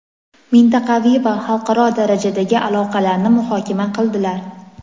mintaqaviy va xalqaro darajadagi aloqalarni muhokama qildilar.